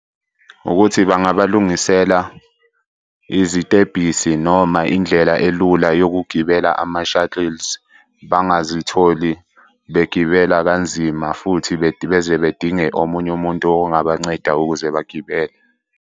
Ukuthi bangabalungisela izitebhisi noma indlela elula yokugibela ama-shuttles. Bangazitholi begibela kanzima futhi beze bedinge omunye umuntu ongabanceda ukuze bagibele.